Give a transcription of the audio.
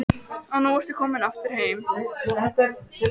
Þórbjarni, kanntu að spila lagið „Íslandsgálgi“?